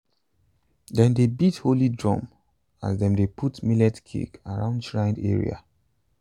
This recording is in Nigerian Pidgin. dem dey beat holy drum as dem dey put millet cake around shrine area.